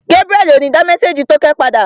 Gébúrẹ́li ò ní dá mésèjì tókẹ́ padà